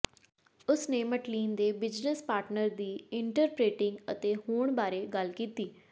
ਉਸ ਨੇ ਮਟਲੀਨ ਦੇ ਬਿਜਨੈਸ ਪਾਰਟਨਰ ਦੀ ਇੰਟਰਪ੍ਰੇਟਿੰਗ ਅਤੇ ਹੋਣ ਬਾਰੇ ਗੱਲ ਕੀਤੀ